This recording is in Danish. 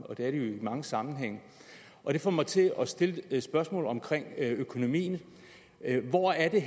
og det er de i mange sammenhænge og det får mig til at stille et spørgsmål om økonomien hvor er det